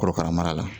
Korokara mara la